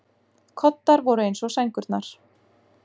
Koddar voru eins og sængurnar.